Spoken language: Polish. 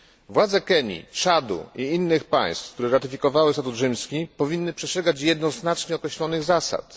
Władze Kenii, Czadu i innych państw, które ratyfikowały statut rzymski, powinny przestrzegać jednoznacznie określonych zasad.